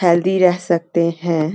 Healthy रह सकते हैं।